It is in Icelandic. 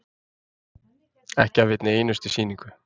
Ekki af einni einustu sýningu.